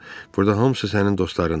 Burda hamısı sənin dostlarındır.